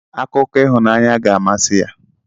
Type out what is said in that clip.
Akụkọ ịhụnanya ga-amasị ya.